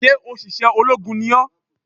Sé òṣìṣẹ́ ológun ni ó?